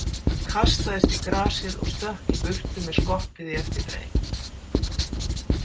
Hann kastaðist í grasið og stökk í burtu með skottið í eftirdragi.